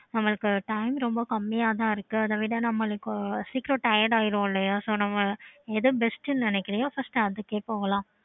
okay mam